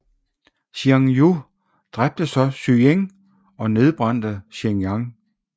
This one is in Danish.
Xiang Yu dræbte så Ziying og nedbrændte Xianyang